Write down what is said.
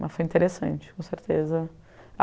Mas foi interessante, com certeza.